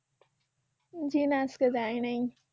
জি না আজকে যাই নাই।